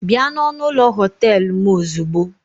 Bịa na ọnụ ụlọ họtel m ozugbo!